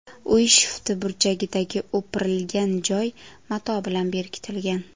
Uy shifti burchagidagi o‘pirilgan joy mato bilan berkitilgan.